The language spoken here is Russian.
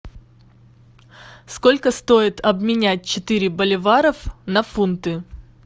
сколько стоит обменять четыре боливаров на фунты